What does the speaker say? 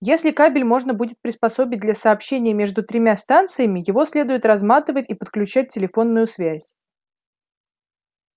если кабель можно будет приспособить для сообщения между тремя станциями его следует разматывать и подключать телефонную связь